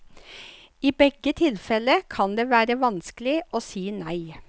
I begge tilfelle kan det være vanskelig å si nei.